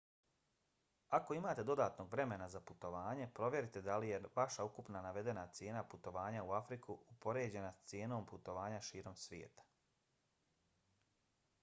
ako imate dodatnog vremena za putovanje provjerite da li je vaša ukupna navedena cijena putovanja u afriku upoređena sa cijenom putovanja širom sveta